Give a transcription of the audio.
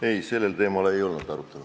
Ei, sellel teemal ei olnud arutelu.